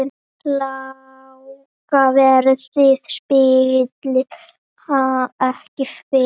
Lága verðið spillir ekki fyrir.